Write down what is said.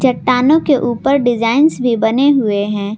चट्टानों के ऊपर डिजाइंस भी बने हुए हैं।